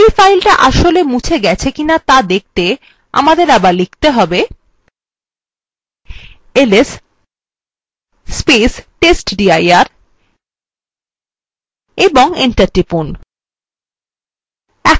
এই ফাইলটা আসলে মুছে ফেলা হয়েছে কি to দেখতে আমাদের আবার press করতে হবে testdir এবং enter টিপুন